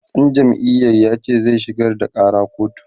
ɗan jam'iyar yace zai shigar da ƙara kotu